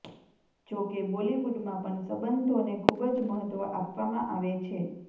જો કે બોલીવુડમાં પણ સંબંધોને ખુબ જ મહત્વ આપવમાં આવે છે